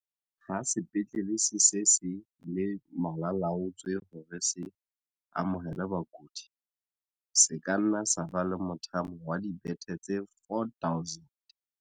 Ha sepetlele se se se le malala-a-laotswe hore se amohele bakudi, se ka nna sa ba le mothamo wa dibethe tse 4 000.